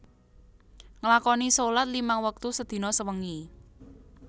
Nglakoni sholat limang wektu sedina sewengi